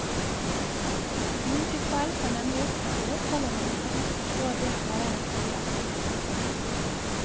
Slike feil kan nemlig oppdages selv om man ikke helt forstår det taleren sier. punktum